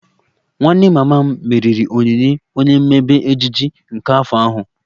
Nwanne mama m meriri onyinye onye mmebe Ejiji nke afọ ahu